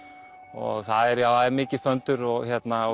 og það er mikið föndur og